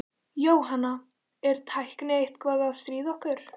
Jóhanna: Er tæknin eitthvað að stríða ykkur?